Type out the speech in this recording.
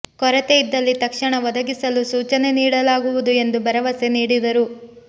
ಕೊರತೆ ಇದ್ದಲ್ಲಿ ತಕ್ಷಣ ಒದಗಿಸಲು ಸೂಚನೆ ನೀಡಲಾಗುವುದು ಎಂದು ಭರವಸೆ ನೀಡಿದರು